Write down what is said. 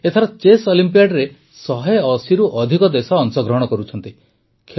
ଏଥର ଚେସ୍ ଅଲିମ୍ପିଆଡ଼ରେ ୧୮୦ରୁ ଅଧିକ ଦେଶ ଅଂଶଗ୍ରହଣ କରୁଛନ୍ତି